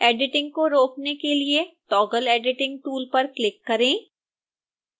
editing को रोकने के लिए toggle editing टूल पर क्लिक करें